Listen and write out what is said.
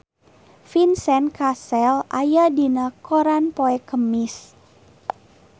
Vincent Cassel aya dina koran poe Kemis